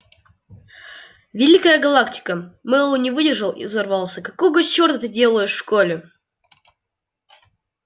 великая галактика мэллоу не выдержал и взорвался какого чёрта ты делаешь в школе